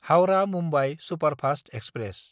Howrah-Mumbai superfast express